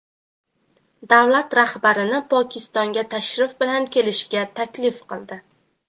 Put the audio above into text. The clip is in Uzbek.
davlat rahbarini Pokistonga tashrif bilan kelishga taklif qildi.